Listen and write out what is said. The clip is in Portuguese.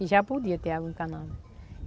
E já podia ter água encanada.